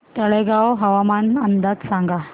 तळेगाव हवामान अंदाज सांगा